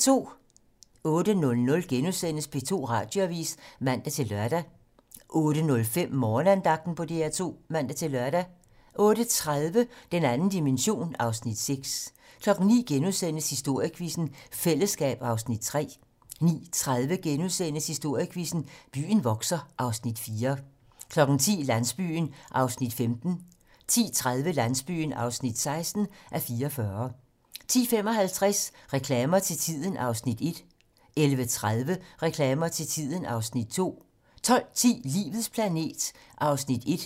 08:00: P2 Radioavis *(man-lør) 08:05: Morgenandagten på DR2 (man-lør) 08:30: Den 2. dimension (Afs. 6) 09:00: Historiequizzen: Fællesskab (Afs. 3)* 09:30: Historiequizzen: Byen vokser (Afs. 4)* 10:00: Landsbyen (15:44) 10:30: Landsbyen (16:44) 10:55: Reklamer til tiden (Afs. 1) 11:30: Reklamer til tiden (Afs. 2) 12:10: Livets planet (1:10)